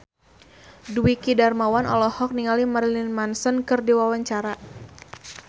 Dwiki Darmawan olohok ningali Marilyn Manson keur diwawancara